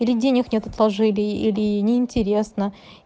или денег нет отложили или неинтересно